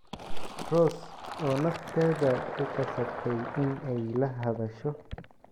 Rose oo nafteeda ku qasabtay in ay la hadasho.